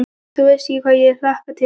Þú veist ekki hvað ég hlakka til.